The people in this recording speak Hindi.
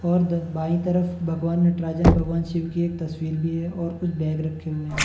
और दर बाई तरफ भगवान नटराजन भगवान शिव की एक तस्वीर भी है और कुछ बैग रखे हुए हैं।